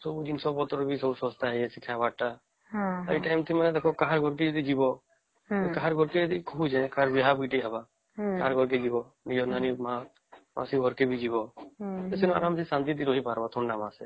ଜିନିଷ ପତ୍ର ବି ସବୁ ଶସ୍ତା ହେଇ ଯାଇଛି ଖାବ ଟା ଏଇଟା କାହା ଘରକୁ ବି ଯିବା କାହାର ଘରକୁ ବି ଯଦି ବିହାର ବେଟି ହେବ ଘରକେ ଯିବା ନିଜେ ମା ଆଉ ସେବାର ଘକର ଯିବା ଟା ଆରାମ ରହି ପରିବା ଥଣ୍ଡମାସେ